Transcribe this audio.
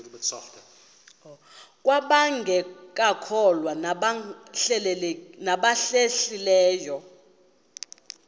kwabangekakholwa nabahlehli leyo